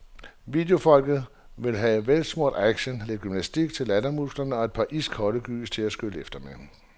Videofolket vil have velsmurt action, lidt gymnastik til lattermusklerne og et par iskolde gys til at skylle efter med.